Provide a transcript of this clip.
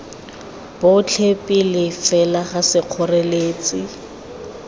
botlhe pele fela ga sekgoreletsi